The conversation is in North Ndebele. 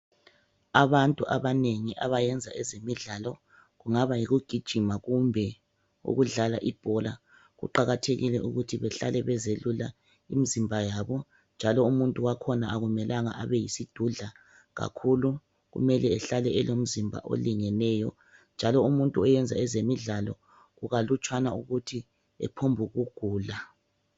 Abantu abanengi abayenza ezemidlalo kungaba yikugijima kumbe ukudlala ibhola kuqakathekile ukuthi behlale bezelula imizimba yabo njalo umuntu wakhona akumelanga abe yisidudla kakhulu kumele ehlale elomzimba olingeneyo, njalo umuntu oyenza ezemidlalo kukalutshwana ukuthi ahlaselwe yimikhuhlane.